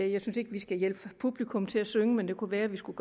jeg synes ikke vi skal hjælpe publikum til at synge men det kunne være vi skulle